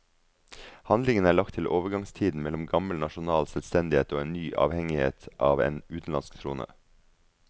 Handlingen er lagt til overgangstiden mellom gammel nasjonal selvstendighet og en ny avhengighet av en utenlandsk trone.